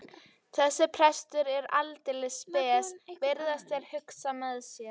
Þessi prestur er aldeilis spes, virðast þeir hugsa með sér.